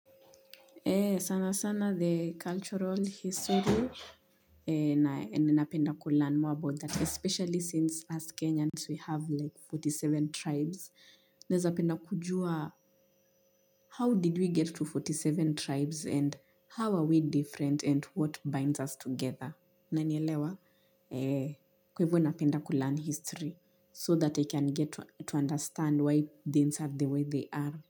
Sana sana the cultural history na ninapenda kulearn more about that especially since us kenyans we have like arobaini na saba tribes naeza penda kujua how did we get to arobaini na saba tribes and how are we different and what binds us together unanielewa kwa ivo napenda kulearn history so that i can get to understand why things are the way they are.